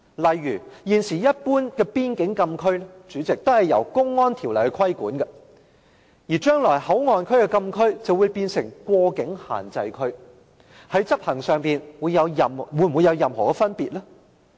例如，現時一般邊境禁區均由《公安條例》規管，而將來內地口岸區的禁區便會變成過境限制區，在執行上會否有任何分別？